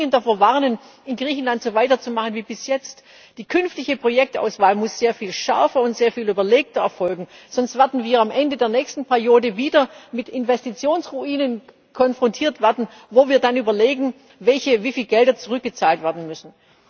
Ich möchte dringend davor warnen, in Griechenland so weiterzumachen wie bis jetzt. Die künftige Projektauswahl muss sehr viel schärfer und sehr viel überlegter erfolgen, sonst werden wir am Ende der nächsten Periode wieder mit Investitionsruinen konfrontiert werden, wo wir dann überlegen, welche und wie viele Gelder zurückgezahlt werden müssen.